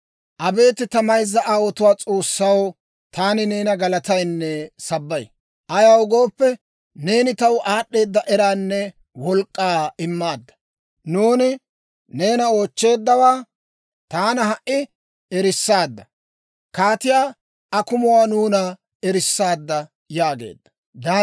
Abeet ta mayzza aawotuwaa S'oossaw, taani neena galataynne sabbay. Ayaw gooppe, neeni taw, aad'd'eeda eraanne wolk'k'aa immaadda. Nuuni neena oochcheeddawaa, taana ha"i erissaadda. Kaatiyaa akumuwaa nuuna erissaadda» yaageedda.